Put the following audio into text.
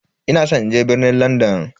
Ina san in je birnin Landan.